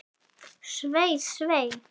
Svei, svei.